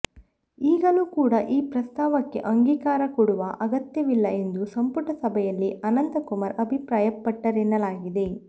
ಈಗಲೂ ಕೂಡ ಈ ಪ್ರಸ್ತಾವಕ್ಕೆ ಅಂಗೀಕಾರ ಕೊಡುವ ಅಗತ್ಯವಿಲ್ಲ ಎಂದು ಸಂಪುಟ ಸಭೆಯಲ್ಲಿ ಅನಂತಕುಮಾರ್ ಅಭಿಪ್ರಾಯಪಟ್ಟರೆನ್ನಲಾಗಿದೆ